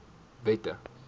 wette